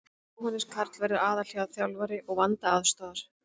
Jóhannes Karl verður aðalþjálfari og Vanda aðstoðar.